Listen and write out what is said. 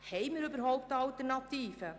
Haben wir überhaupt eine Alternative?